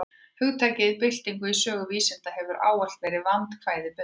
Hugtakið bylting í sögu vísinda hefur ávallt verið vandkvæðum bundið.